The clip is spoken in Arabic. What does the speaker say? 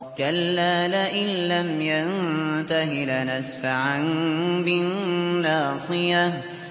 كَلَّا لَئِن لَّمْ يَنتَهِ لَنَسْفَعًا بِالنَّاصِيَةِ